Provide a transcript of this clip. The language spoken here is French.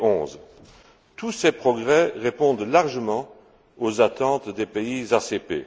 2011. Tous ces progrès répondent largement aux attentes des pays ACP.